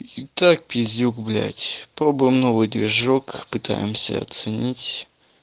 и так пиздюк блять пробуем новый движок попытаемся оценить